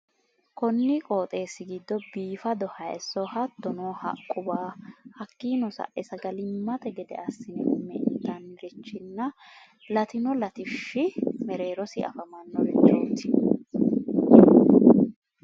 konni qooxeessi giddo biifado hayiissonna hattono haqquwa hakkino sae sagalimmate gede assineenna intannirichinna latino latishshi mereerosi afamannorichoti